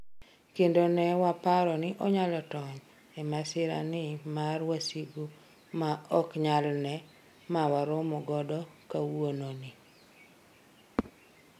kendo ne waparo ni onyalo tony e masira ni mar wasigu ma ok nyal ne mawaromo godo kwauono ni